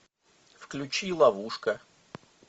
включи ловушка